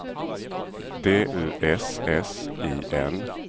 D U S S I N